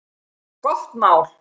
Gott mál!